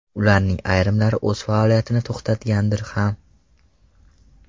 Ularning ayrimlari o‘z faoliyatini to‘xtatgandir ham.